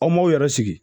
Aw m'aw yɛrɛ sigi